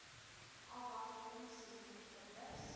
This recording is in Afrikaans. afwagting summier geblus